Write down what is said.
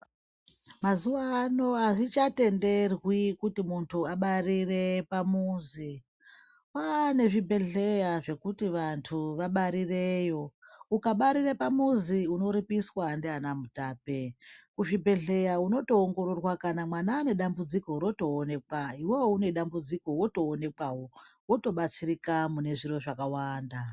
Mazuva ano hazvichatenderwi kuti muntu abarire pamuzi. Kwaa nezvibhebhedhleya zvekuti vantu vabarireyo. Ukabarire pamuzi unoripiswa ndiana mutape. Kuzvhibhedhleya unotoongororwa kana kana mwana ane dambudziko rotoonekwa, iwewo une dambudziko wotoonekwawo, wotobatsirika mune zviro zvakawanda.